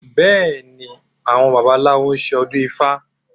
Bẹ́ẹ̀ ni, àwọn babaláwo ṣe ọdún ifá